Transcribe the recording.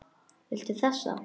Viltu þessa?